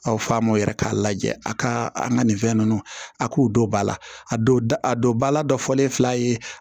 Aw fa m'o yɛrɛ k'a lajɛ a ka an ka nin fɛn ninnu a k'u don ba la a don da a don ba la dɔ fɔlen fila ye